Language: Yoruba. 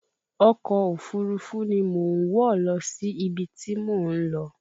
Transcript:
Ọkọ̀ òfúrufú ni mo ń wọ̀ lọ sí ibi tí mò ń lọ